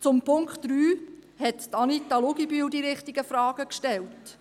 Zu Punkt 3 hat Anita Luginbühl die richtigen Fragen gestellt.